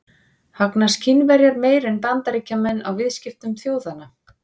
Hagnast Kínverjar meira en Bandaríkjamenn á viðskiptum þjóðanna?